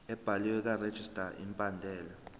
ebhaliwe karegistrar imibandela